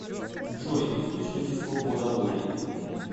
джой источники свобода воли